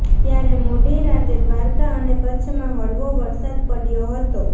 ત્યારે મોડી રાતે દ્વારકા અને કચ્છમાં હળવો વરસાદ પડ્યો હતો